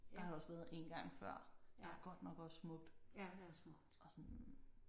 Der har jeg også været én gang før der er godt nok også smukt og sådan